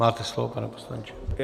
Máte slovo, pane poslanče.